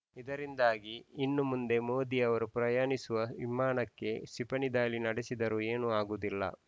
ಇದರಿಂದಾಗಿ ಇನ್ನು ಮುಂದೆ ಮೋದಿ ಅವರು ಪ್ರಯಾಣಿಸುವ ವಿಮಾನಕ್ಕೆ ಕ್ಷಿಪಣಿ ದಾಳಿ ನಡೆಸಿದರೂ ಏನೂ ಆಗುವುದಿಲ್ಲ